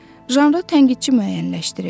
Janrı tənqidçi müəyyənləşdirir.